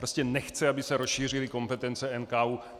Prostě nechce, aby se rozšířily kompetence NKÚ.